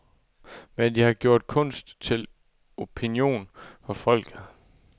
Men de har gjort kunst til opinion for folket.